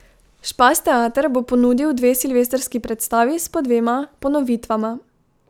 Špas teater bo ponudil dve silvestrski predstavi s po dvema ponovitvama.